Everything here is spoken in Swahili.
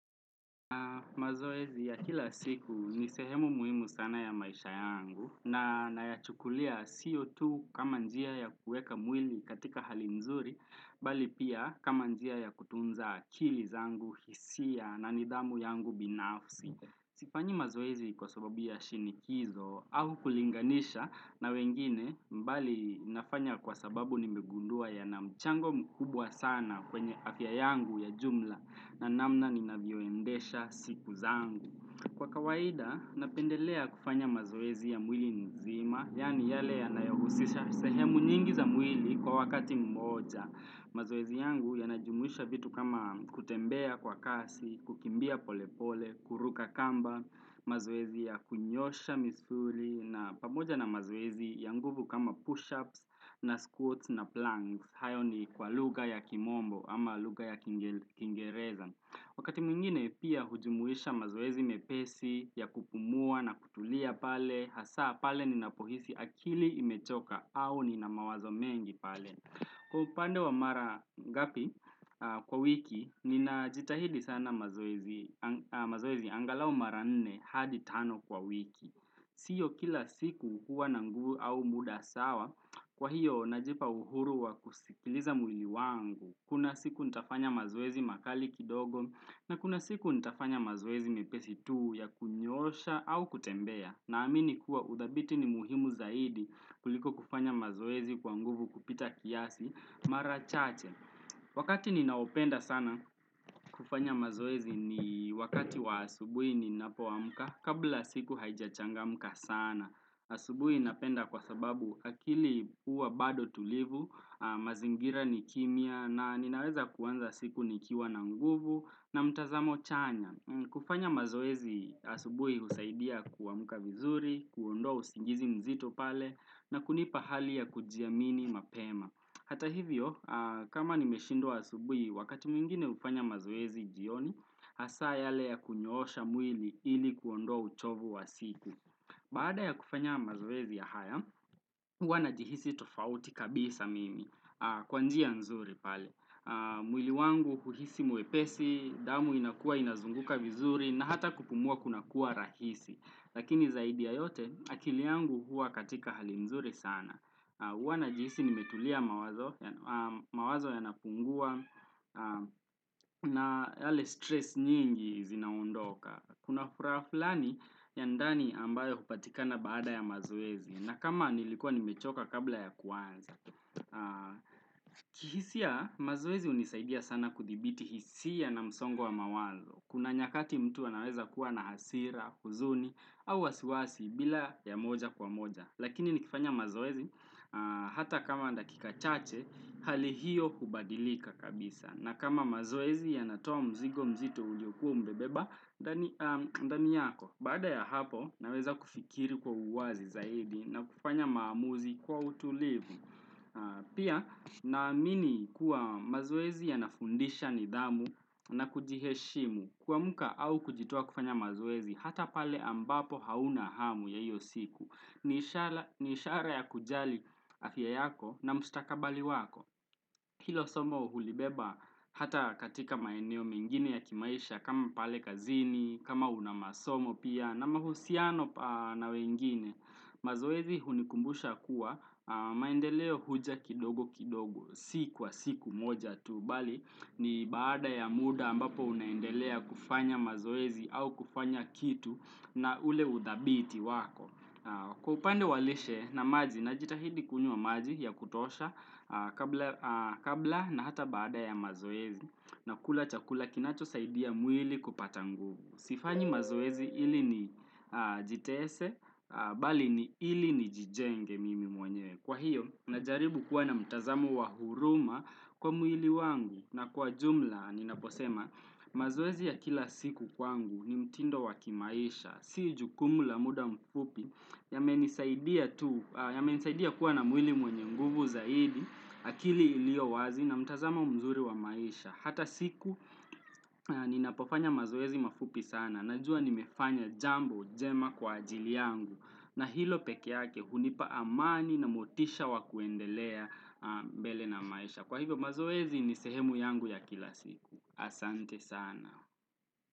Na mazoezi ya kila siku ni sehemu muhimu sana ya maisha yangu na nayachukulia sio tu kama njia ya kuweka mwili katika hali mzuri bali pia kama njia ya kutunza akili zangu hisia na nidhamu yangu binafsi Sifanyi mazoezi kwa sababu ya shinikizo au kulinganisha na wengine bali nafanya kwa sababu nimegundua yana mchango mkubwa sana kwenye afya yangu ya jumla na namna ninavyoendesha siku zangu. Kwa kawaida, napendelea kufanya mazoezi ya mwili nzima, yaani yale yanayohusisha sehemu nyingi za mwili kwa wakati mmoja. Mazoezi yangu yanajumuisha vitu kama kutembea kwa kasi, kukimbia polepole, kuruka kamba, mazoezi ya kunyosha misuli, na pamoja na mazoezi ya nguvu kama push-ups na squats na planks. Hayo ni kwa lugha ya kimombo ama lugha ya kiingereza Wakati mwingine pia hujumuisha mazoezi mepesi ya kupumua na kutulia pale Hasaa pale ninapohisi akili imechoka au nina mawazo mengi pale Kwa upande wa mara ngapi kwa wiki, ninajitahidi sana mazoezi angalau mara nne hadi tano kwa wiki siyo kila siku huwa na nguvu au muda sawa Kwa hiyo, najipa uhuru wa kusikiliza mwili wangu, kuna siku nitafanya mazoezi makali kidogo, na kuna siku nitafanya mazoezi mepesi tuu ya kunyoosha au kutembea, na amini kuwa udhabiti ni muhimu zaidi kuliko kufanya mazoezi kwa nguvu kupita kiasi marachache. Wakati ninaopenda sana kufanya mazoezi ni wakati wa asubuhi ninapoamka kabla siku haijachangamka sana. Asubuhi ninapenda kwa sababu akili huwa bado tulivu, mazingira ni kimya na ninaweza kuanza siku nikiwa na nguvu na mtazamo chanya. Kufanya mazoezi asubuhi husaidia kuamka vizuri, kuondoa usingizi mzito pale na kunipa hali ya kujiamini mapema. Hata hivyo, kama nimeshindwa asubuhi, wakati mwingine hufanya mazoezi jioni, hasaa yale ya kunyoosha mwili ili kuondoa uchovu wa siku. Baada ya kufanya mazoezi ya haya, huwa najihisi tofauti kabisa mimi, kwa njia nzuri pale. Mwili wangu kuhisi mwepesi, damu inakua inazunguka vizuri, na hata kupumua kunakuwa rahisi. Lakini zaidi ya yote, akili yangu huwa katika hali mzuri sana. Huwa najihisi nimetulia mawazo yanapungua na yale stress nyingi zinaondoka. Kuna furaha flani ya ndani ambayo hupatikana baada ya mazoezi. Na kama nilikuwa nimechoka kabla ya kuanza. Kihisia, mazoezi hunisaidia sana kudhibiti hisia na msongo wa mawazo. Kuna nyakati mtu anaweza kuwa na hasira, huzuni, au wasiwasi bila ya moja kwa moja. Lakini nikifanya mazoezi hata kama ni dakika chache, hali hiyo hubadilika kabisa. Na kama mazoezi yanatoa mzigo mzito ungekuwa umebeba, ndani yako. Baada ya hapo, naweza kufikiri kwa uwazi zaidi na kufanya maamuzi kwa utulivu. Pia naamini kuwa mazoezi yanafundisha nidhamu na kujiheshimu. Kuamka au kujitoa kufanya mazoezi hata pale ambapo hauna hamu ya hiyo siku ni ishara ya kujali afya yako na mstakabali wako Hilo somo hulibeba hata katika maeneo mengine ya kimaisha kama pale kazini, kama una masomo pia na mahusiano na wengine mazoezi hunikumbusha kuwa maendeleo huja kidogo kidogo si kwa siku moja tu Bali ni baada ya muda ambapo unaendelea kufanya mazoezi au kufanya kitu na ule udhabiti wako Kwa upande wa lishe na maji najitahidi kunywa maji ya kutosha kabla na hata baada ya mazoezi na kula chakula kinachosaidia mwili kupata nguvu. Sifanyi mazoezi ili nijitese, bali ni ili nijijenge mimi mwenye. Kwa hiyo, najaribu kuwa na mtazamo wa huruma kwa mwili wangu. Na kwa jumla, ninaposema, mazoezi ya kila siku kwangu ni mtindo wa kimaisha. Si jukumu la muda mfupi yamenisaidia kuwa na mwili mwenye nguvu zaidi, akili iliyo wazi na mtazama mzuri wa maisha. Hata siku ninapofanya mazoezi mafupi sana. Najua nimefanya jambo jema kwa ajili yangu na hilo pekee yake hunipa amani na motisha wa kuendelea mbele na maisha. Kwa hivyo mazoezi ni sehemu yangu ya kila siku. Asante sana.